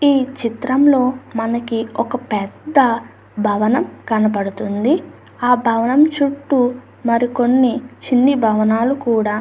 ఈ చిత్రంలో మనకి ఒక పెద్ద భవనం కనబడుతుంది. ఆ భవనం చుట్టూ మరికొన్ని చిన్ని భవనాలు కూడా --